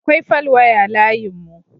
Akwai falwaya layinmu.